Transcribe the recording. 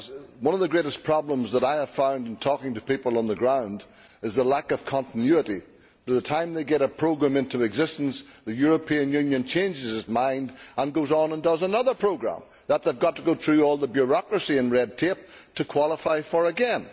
One of the greatest problems I have found in talking to people on the ground is the lack of continuity. By the time they get a programme into existence, the European Union changes its mind and goes on and creates another programme which they have to go through all the bureaucracy and red tape to qualify for again.